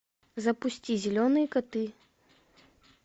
запусти зеленые коты